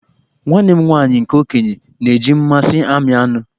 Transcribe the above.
Nwanne m nwaanyị nke okenye na-eji mmasị ami anụ